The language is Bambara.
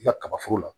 I ka kaba foro la